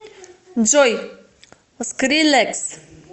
джой скрилекс